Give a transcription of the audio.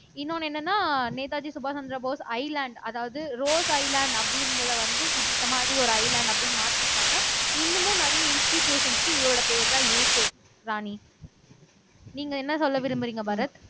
இன்னொண்ணு என்னன்னா நேதாஜி சுபாஷ் சந்திரபோஸ் ஐஸ்லாந்து அதாவது ரோஸ் ஐஸ்லாந்து அப்படின்றதை வந்து இந்த மாதிரி ஒரு ஐஸ்லாந்து அப்படின்னு மாத்திருக்காங்க இன்னமும் நிறைய இன்ஸ்டிடூயுஷன்ஸ்க்கு இவரோட பேர்தான் இருக்கு ராணி நீங்க என்ன சொல்ல விரும்புறீங்க பாரத்